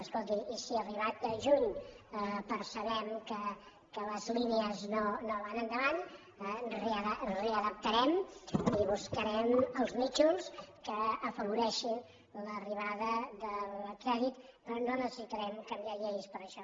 escolti i si arribat juny percebem que les línies no van endavant ho readaptarem i buscarem els nínxols que afavoreixin l’arribada del crèdit però no necessitarem canviar lleis per això